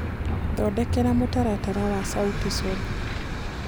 thondekera mũtaratara wa sauti sol